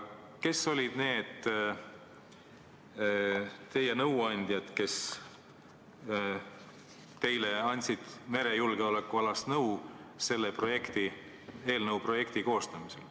Kes olid need inimesed, kes teile selle eelnõu projekti koostamisel merejulgeolekualast nõu andsid?